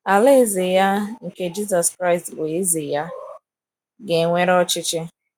Alaeze Ya, nke Jisọs Kraịst bụ Eze ya, ga - ewere ọchịchị.